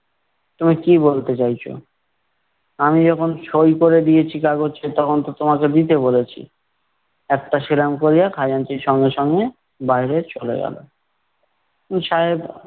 তুমি কি বলতে চাইছো? আমি যখন সই করে দিয়েছি কাগচে, তখন তো তোমাকে দিতে বলেছি। একটা সেলাম করিয়া, খাজাঞ্চি সঙ্গে সঙ্গে বাইরে চলে গেলো। উম সাহেব